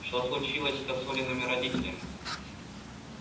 что случилось-то с олиными родителями